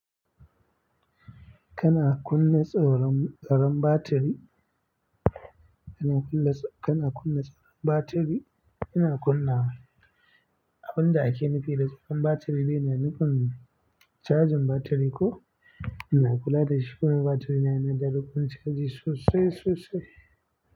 Kana kunna tsaron tsoron batiri? Kana kunna tso kana kunna tsaron batiri? Ina kunna. Abin da ake nufi da tsaron batiri yana nufin cajin batiri ko ina kula da shukunin batiri na, yana da rukuni tsakanin sosai sosai.